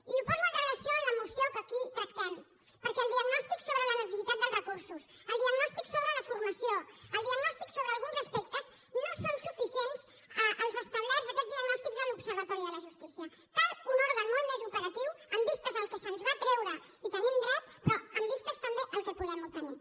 i ho poso en relació amb la moció que aquí tractem perquè el diagnòstic sobre la necessitat dels recursos el diagnòstic sobre la formació el diagnòstic sobre alguns aspectes no són suficients els establerts aquests diagnòstics a l’observatori de la justícia cal un òrgan molt més operatiu en vistes del que se’ns va treure hi tenim dret però en vistes també del que podem obtenir